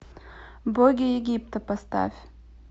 боги египта поставь